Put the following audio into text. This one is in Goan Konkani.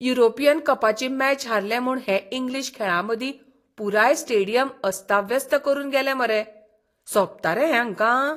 युरोपियन कपाची मॅच हारले म्हूण हे इंग्लीश खेळांमोगी पुराय स्टेडियम अस्ताव्यस्त करून गेले मरे. सोबता रे हें हांकां?